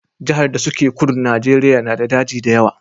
Jahar da su ke kudun Najeriya na da daji da yawa